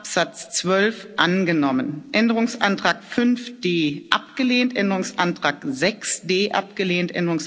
Absatz 12 angenommen Änderungsantrag 5d abgelehnt Änderungsantrag 6d abgelehnt